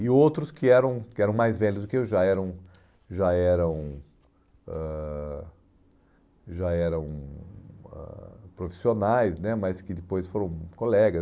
E outros que eram que eram mais velhos do que eu, já eram já eram ãh já eram ãh profissionais né, mas que depois foram colegas.